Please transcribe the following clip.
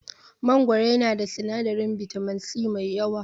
Mangoro yana da sinadarin bitamin C mai yawa.